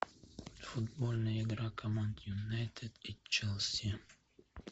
футбольная игра команд юнайтед и челси